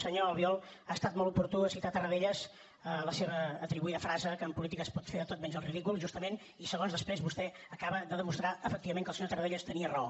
senyor albiol ha estat molt oportú citar tarradellas a la seva atribuïda frase que en política es pot fer de tot menys el ridícul justament i segons després vostè acaba de demostrar efectivament que el senyor tarradellas tenia raó